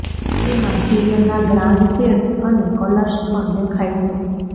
તેમાં સિરિયલના grand sets અને કલર્સ પણ દેખાય છે